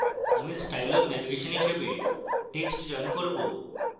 আমি style of navigation হিসাবে text চয়ন করব